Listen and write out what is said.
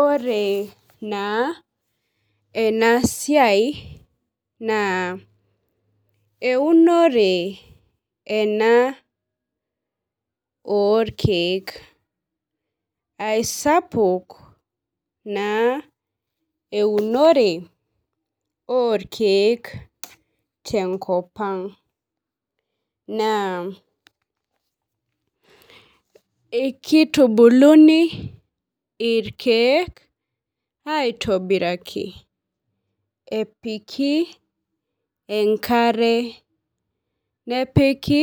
Ore naa enaa siai naa eunore ena oo irkeek. Eisapuk naa eunore oo irkeek te nkop ang'. Naa ekitubuni irkeek aitobiraki eoiki enkare nepiki